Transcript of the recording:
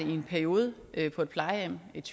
i en periode på et plejehjem et